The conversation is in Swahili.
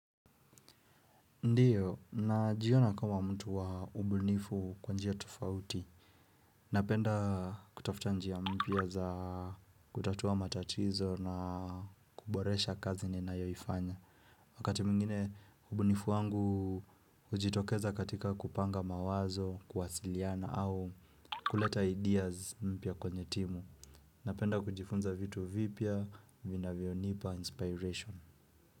Ndio, najiona kama mtu wa ubunifu kwa njia tofauti. Napenda kutafuta njia mpya za kutatua matatizo na kuboresha kazi ninayoifanya. Wakati mwingine ubunifu wangu hujitokeza katika kupanga mawazo, kuwasiliana au kuleta ideas mpya kwenye timu. Napenda kujifunza vitu vipya, vinavyonipa inspiration.